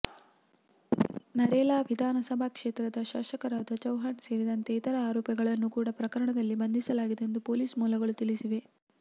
ನರೇಲಾ ವಿಧಾನಸಭಾ ಕ್ಷೇತ್ರದ ಶಾಸಕರಾದ ಚೌಹಾನ್ ಸೇರಿದಂತೆ ಇತರ ಆರೋಪಿಗಳನ್ನು ಕೂಡಾ ಪ್ರಕರಣದಲ್ಲಿ ಬಂಧಿಸಲಾಗಿದೆ ಎಂದು ಪೊಲೀಸ್ ಮೂಲಗಳು ತಿಳಿಸಿವೆ